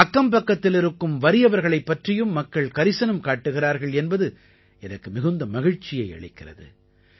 அக்கம்பக்கத்திலிருக்கும் வறியவர்களைப் பற்றியும் மக்கள் கரிசனம் காட்டுகிறார்கள் என்பது எனக்கு மிகுந்த மகிழ்ச்சியை அளிக்கிறது